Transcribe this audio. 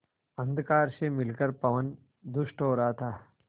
अंधकार से मिलकर पवन दुष्ट हो रहा था